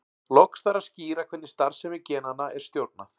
Loks þarf að skýra hvernig starfsemi genanna er stjórnað.